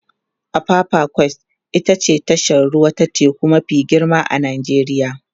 apapa quays ita ce tashar ruwa ta teku mafi girma a Najeriya